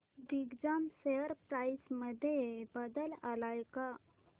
Digjam share price मध्ये बदल आलाय का